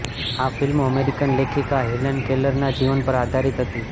આ ફિલ્મ અમેરિકન લેખિકા હેલન કેલરનાં જીવન પર આધારિત હતી